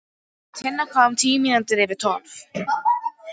Tinna kom tíu mínútur yfir tólf.